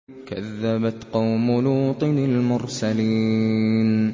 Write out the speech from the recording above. كَذَّبَتْ قَوْمُ لُوطٍ الْمُرْسَلِينَ